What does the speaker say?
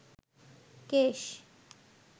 কেশ